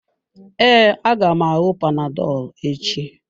Ee, aga m aṅụ panadolu echi.